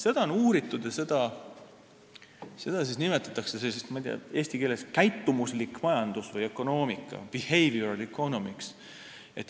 Seda on uuritud ja seda nimetatakse – ma ei tea, kuidas eesti keeles oleks – käitumuslikuks majanduseks või ökonoomikaks, behavioral economics.